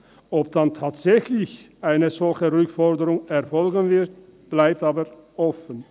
Ob dann tatsächlich eine solche Rückforderung erfolgen wird, bleibt aber offen.